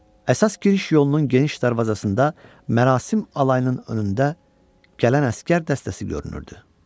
Əsas giriş yolunun geniş darvazasında mərasim alayının önündə gələn əsgər dəstəsi görünürdü.